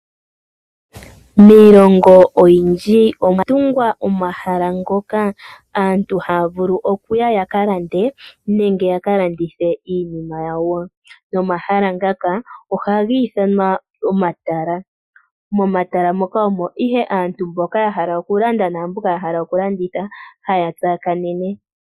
Miilongo oyindji omwa tungwa omahala ngoka aantu haya vulu oku ya yaka lande nenge yaka landithe iinima yawo, nomahala ngaka ohagi ithanwa omatala. Momatala moka omo ihe aantu mboka ya hala oku landa naamboka ya hala oku landitha haya tsakanene